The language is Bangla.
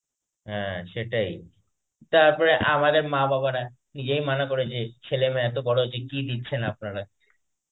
হ্যাঁ সেটাই. তারপরে আমাদের মা বাবারা, নিজেই মানা করেছে, যে এত বড় হয়েছে কি দিচ্ছে আপনারা.